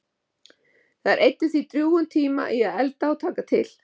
Þær eyddu því drjúgum tíma í að elda og taka til.